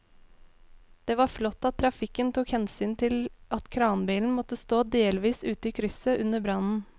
Det var flott at trafikken tok hensyn til at kranbilen måtte stå delvis ute i krysset under brannen.